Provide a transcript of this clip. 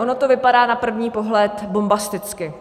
Ono to vypadá na první pohled bombasticky.